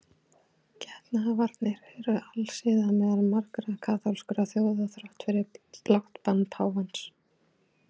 Getnaðarvarnir eru alsiða meðal margra kaþólskra þjóða þrátt fyrir blátt bann páfans.